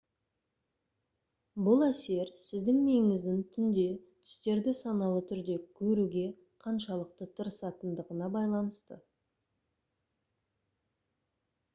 бұл әсер сіздің миыңыздың түнде түстерді саналы түрде көруге қаншалықты тырысатындығына байланысты